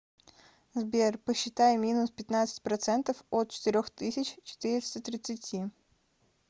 сбер посчитай минус пятнадцать процентов от четырех тысяч четыреста тридцати